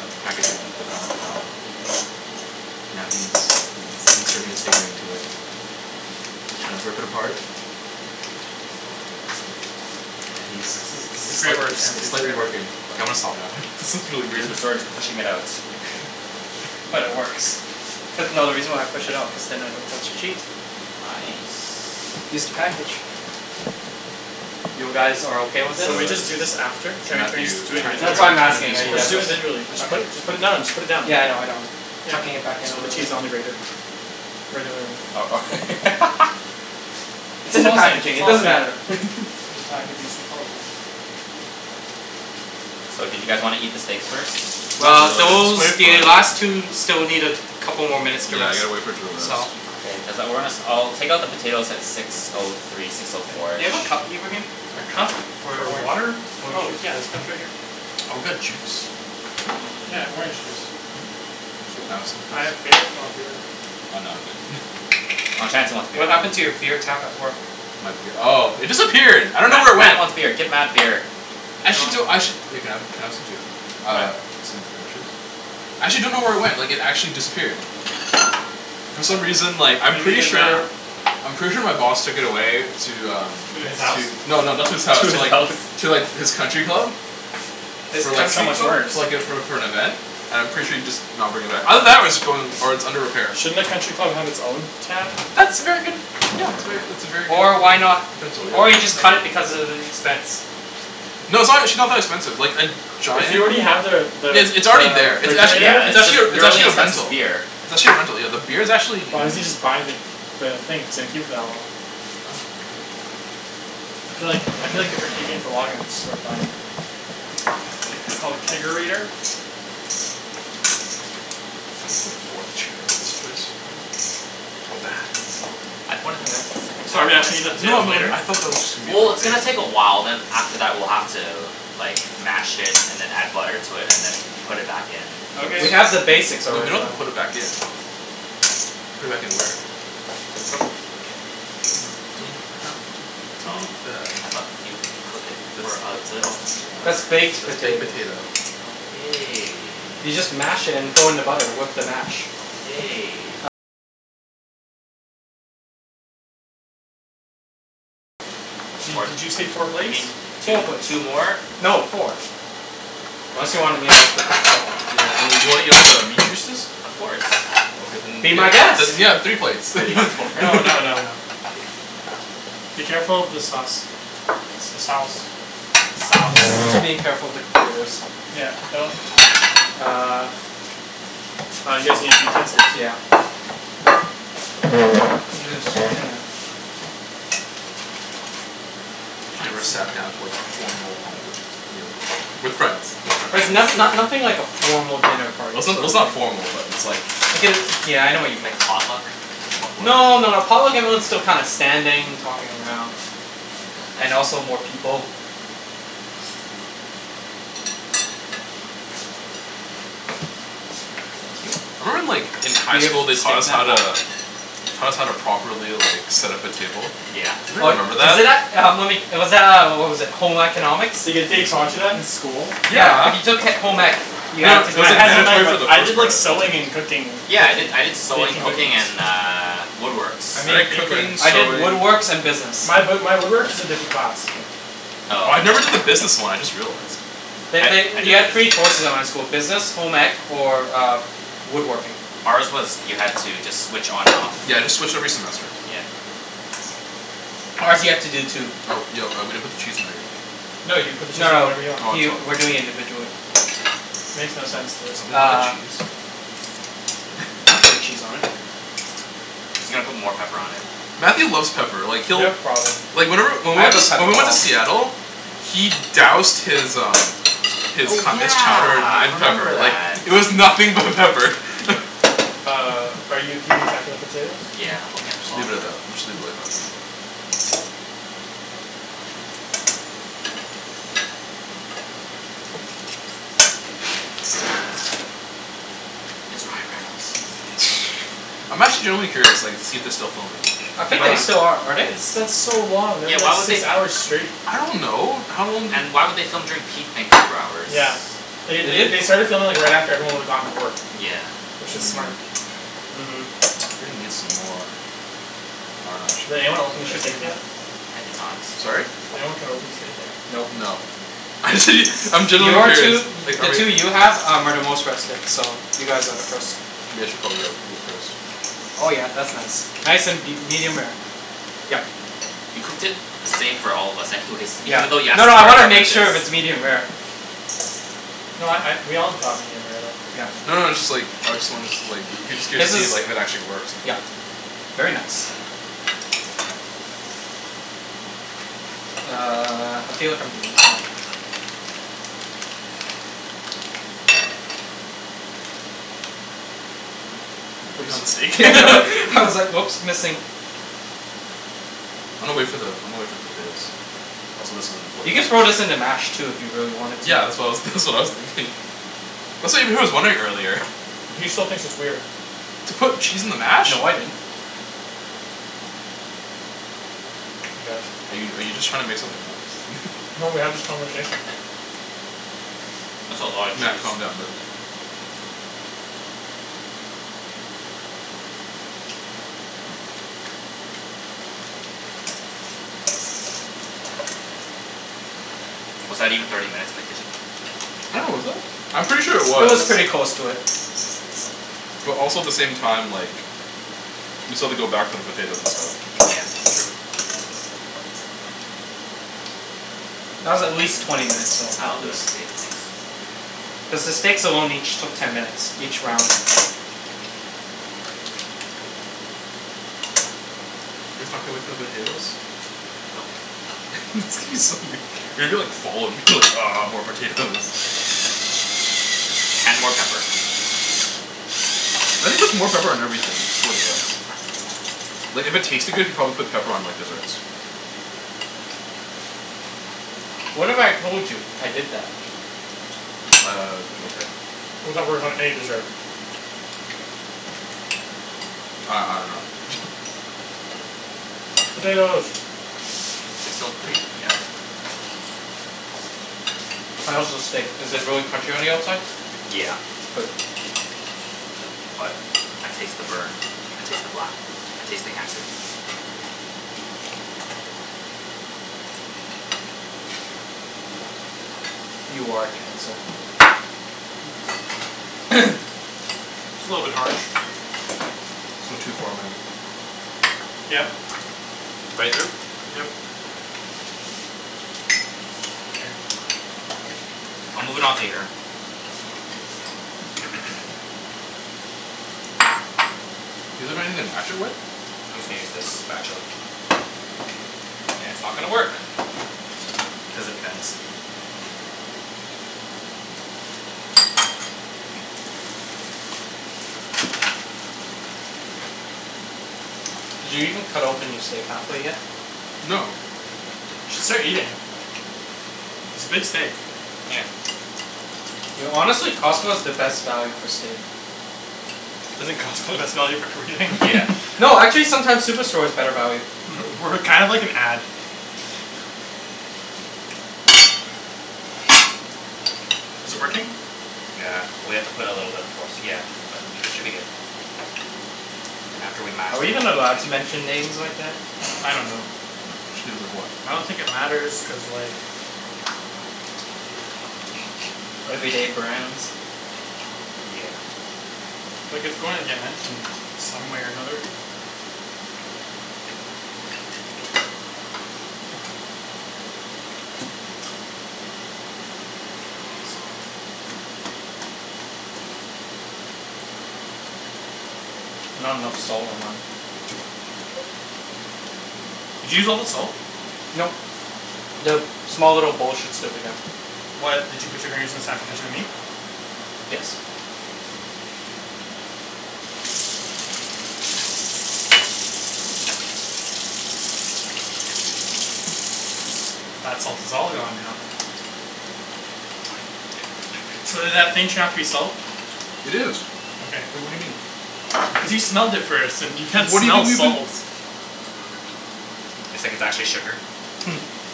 at the packaging of the Grana Padano. Now he's- he's entering his steak knife into it. He trying to rip it apart. And he's This is- this is it's great slight- work Chan, it's it's slightly great work. working. Okay, I'm gonna stop now, this is really He's weird. sort to pushing it out. But it works. Cuz- no, the reason why I pushed it out cuz then I don't touch the cheese. Nice. Just the package. You guys are okay with It's, this? So uh, we this just do this is after? Can we- can we just Matthew do it tryin'- That's individually? why I'm tryin' to be asking, a are you smart Let's guys just ass. do o- it individually. Just put- just put it now, just put it down. okay?.Yeah I know I know. Tucking it back you in a should put little bit. cheese on the grater. Is the other way around, uh-oh. cool. It's It's in the all the same, packaging, it's it all the doesn't same. matter. It's just packaging, so it's all the same. So, do you guys wanna eat the steaks first? Not Well really, those- wait for the it to rest. last two still need a couple more minutes to Yeah I rest, gotta wait for it to rest. so- K, Cuz I- we're gonna- I'll take out the potatoes at six O three, six O four. Do you have a cup, Ibrahim? A cup For for orange water? orange Oh juice. yeah there's cups right here. Oh, got juice? Yeah, I have orange juice. Can I have some? I have beer if you want beer. Oh, Chancey wants beer. What happened to your beer tap at work? My bee- Oh it disappeared I dunno Matt- where it Matt went. wants beer. Get Matt beer. Actually I do- Actually- Can I have- can I What? have some too? Actually dunno where it went, like it actually disappeared. For some reason, like, I'm Maybe you pretty guys ran out. sure- I'm pretty sure my boss took it away to, um. To his house? No, no, not to his house. To the Alps To like His his country country club? club. I was That's like for- so much worse. like for like - for- for an event. And I'm pretty sure he'd just not bring it back. Either that or it's going- or it's under repair. Shouldn't a country club have its own tap? That's a very good- , that's very that's a very good Or idea, why kind of not- potential, yeah. or he just cut it Thank you. because of the expense. No, it's actually not that expensive. Like a If giant- you already have the- the- it's already the there. It's actually- Yeah refrigerator. it's it's just actually a- it's your really actually a expensive rental. beer. It's actually a rental, yeah. The beer's actuall Why doesn't n- he just buy the- the thing if he's gonna keep it for that long? I'm like- - I feel like- I feel like if you're keeping it for long enough it's just worth buying it. Like it's called a Kegerator? chair for this place. I pointed that out to the second Sorry, I should eat the I- No potatoes no, later? I thought that was... Well it's gonna take a while, then after that we're gonna have to, like, mash it then add butter and then put it back in. Okay. We have the basics We already. don't have to put it back in. Put it back in there. You don't have to do that. I thought you cook it for a little more. That's baked Baked potatoes. potato. Okay. You just mash it and throw in the butter with the mash. Di- did you say four Or y- you plates? mean two Four plates. two more? No, four. Ya, wan- wan- you wanna eat all the meat juices? Of course. Be my guest. Then I'm kidding. yeah, three plates. We already got four. No, no, no, no. Be careful with the sauce. The sauce. Sauce. I'm being careful of the computers. Yeah, don't. Uh- Uh, you guys need the utensils Yeah. too. I'm just, you know. I never Nice. sat down to like formal home cooked meal before with friends with friends. Like not no- nothing like a formal dinner Well party it's sort n- of it's not thing. formal but it's like- Like a- yeah I know what you mean. Like potluck? Potluck? No, no, a potluck everyone's still kinda standing, talking around. And also more people. Thank you. I remember in like in high school they Taught taught us us how how to- to- Taught us how to properly, like, set up a table. Yeah. Oh, Anybody remember is that? it that- uh uh, was that, uh, what was it, Home Economics? The- the- they taught you that in school? Yeah, Yeah if you took he- home ec, you No, I- no, had to it do was, I like, that had home ec mandatory for stuff. but the I did first part like I sewing think. and cooking Yeah. I did- cookies, I did sewing, baking cooking, cookies. and uh, woodworks. I made an I did apron. cooking, I did sewing. woodworks and business. My b- my woodwork is a different class. I Oh. never did the business one, I just realized. I They- I did they- you had the three business. choices at my school. Business, home ec, or woodworking. Ours was you had to just switch on and off. Yeah, I just switch every semester. Yeah. Ours, you had to do two. Oh, yo, uh, we didn't put the cheese in there yet. No, you put the cheese No, no, whenever you want. he Oh we're doing it I'm sorry. individually. Makes no sense Can to- somebody get the Uh. cheese? I'm putting cheese on it. He's gonna put more pepper on it. Matthew loves pepper. Like You he'll- have problem. Like whenever- when I we went have a to- pepper when we went to problem. Seattle- He doused his, um His Oh co- his chowder yeah, I in remember pepper, like, that. it was nothing but pepper. Uh, are you keeping track of the potatoes? Yeah, I'm looking at the Okay. clock. Leave it at that. Let's just leave it like that for now. It's Ryan Reynolds. I'm actually genuinely curious, like, to see if they're still filming. I They're think they not. still are. Are they? It's- that's so long that'd Yeah, be like why would they six f- hours straight. I don't know. How long do- And why would they film during peak Vancouver hours? Yeah. They- Did they- they? they started filming right after, like, everyone would've gone to work. Yeah. Which is smart. uh-huh I'm gonna need some more- I dunno, actually Did anyone open It the should be steak enough. yet? I did not. Sorry? Did anyone cut open the steak yet? Nope. No. Actually I'm genuinely Your curious two, i- Like the are we- two you have are the most rested, so you guys are the first. You guys should probably, like, do it first. Oh yeah, that's nice. Nice and be- medium rare. Yep. You cooked it the same for all of us anyways. Yeah. Even thought you asked No, us no for I our wanna make preferences. sure if it's medium rare. No I- I we all got medium rare though. Yeah. No, no it's just, like, I just wanna, like, I was just curious His to see if is- like if it actually works. yep very nice. Uh, I feel like I'm doing this wrong. You putting it on the steak? I was like oops, missing. I'ma wait for the- I'ma wait for the potatoes. I'm solicited in You the could throw toilet. this in the mash too if you really wanted to. Yeah. That's what I was that's what I was thinking. That's what Ibrahim was wondering earlier. He still thinks it's weird. To put cheese in the mash? No, I didn't. He does. Are you are you just trying to make something up? No, we had this conversation. That's a lotta Matt, cheese. calm down buddy. Was that even thirty minutes in the kitchen? I dunno was it? I'm pretty sure it It was was. pretty close to it. But also the same time like We still have to go back for the potatoes and stuff. Yeah. That's true. That was at least twenty minutes long, at least. Cuz the steaks alone each took ten minutes, each round. You guys can't wait for the potatoes? It's gonna be so weir- you're gonna be like full and be like "Ah more potatoes." And more pepper. Matt just puts more pepper on everything, I swear to God. Like if it tasted good, he'd probably put pepper on like desserts. What if I told you I did that? Uh, okay. How that works on any dessert? I- I dunno Potatoes. Six O three? Yeah, okay. How is the steak? Is it really crunchy on the outside? Yeah. Good. But I taste the burn. I taste the black. I taste the cancer. You are a cancer. It's a little bit harsh. It's going too far man. Yep. Right through? Yep. Mkay. I'll move it onto here. Want anything to mash it with? I'm just gonna use this spatula. And it's not gonna work cuz it bends. Did you even cut open your steak half way yet? No. We should start eating. It's a big steak. Yeah. Yo, honestly, Costco is the best value for steak. Isn't Costco the best value for everything? Yeah. No, actually sometimes Superstore is better value. We're kind of like an ad. Is it working? Yeah. Well, you have to put a little bit of force, yeah. But, should be good. Then after we mash Are we them even allowed all. to mention names like that? I don't know. Mention names like what? I don't think it matters cuz like. Everyday brands? Yeah. Like it's going to get mentioned some way or another. Not enough salt. Did you use all the salt? Nope. The small little bowl should still be there. What? Did you put your fingers inside but there is no meat? Yes. That salt is all gone now. So did that thing turn out to be salt? It is. Okay. Wait, what do you mean? Because you smelled it first and you can't What do you smell think we've been salt. It's like it's actually sugar.